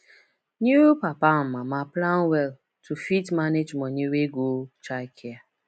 new papa and mama plan well to fit manage money wey go childcare